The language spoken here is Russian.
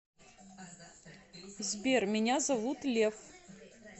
сбер меня зовут лев